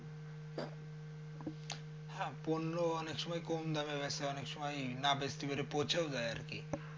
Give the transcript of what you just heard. হ্যাঁ পণ্য অনেক সময় কম দামে বেঁচে অনেক সময় বেচতে পেরে পচেও যায় আরকি।